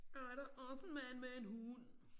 Åh er der også en mand med en hund